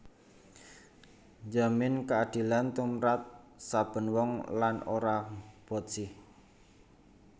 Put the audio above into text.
Njamin kaadilan tumrap saben wong lan ora botsih